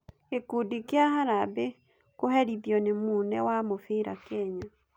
Gĩkundi kĩa harambĩ kũherithĩo nĩ mũne wa mũbira Kenya.